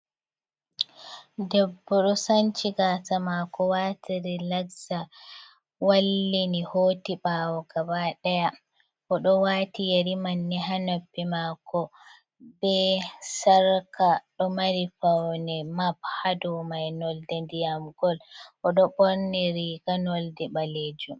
Bebbo do sancigasa mako wati ri lagza wallini hoti bawo gaba daya, o do wati yari manni hanopbi mako, be sarka do mari fauni mapp hadomai nolde ndiyam gol, o do borniriga nolde balejum.